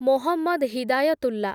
Mohammad Hidayatullah